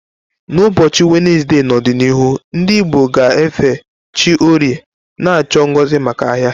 N'ụbọchị Wenezde n'ọdịnihu, ndị Igbo ga-efe chi Orie, na-achọ ngozi maka ahia.